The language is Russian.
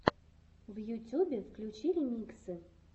в ютюбе включи ремиксы